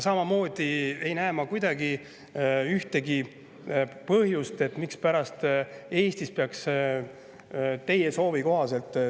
Samamoodi ei näe ma ühtegi põhjust, mispärast peaks Eestis teie soovi kohaselt …